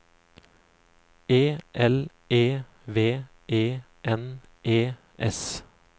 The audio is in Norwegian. E L E V E N E S